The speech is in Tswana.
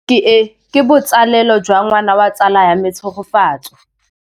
Tleliniki e, ke botsalêlô jwa ngwana wa tsala ya me Tshegofatso.